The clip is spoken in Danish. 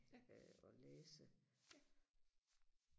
øh og læse